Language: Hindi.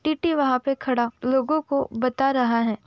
टी.टी वहाँ पे खड़ा लोगों को बता रहा है।